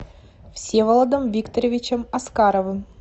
всеволодом викторовичем аскаровым